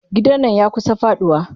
Gidan nan yakusa faduwa.